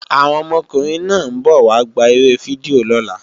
Àwọn ọmọkùnrin náà ń bọ̀ wá gbá eré fídíò lọ́la